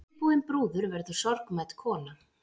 Síðbúin brúður verður sorgmædd kona.